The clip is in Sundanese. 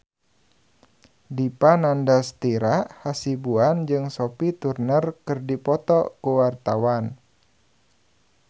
Dipa Nandastyra Hasibuan jeung Sophie Turner keur dipoto ku wartawan